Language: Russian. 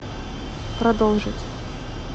продолжить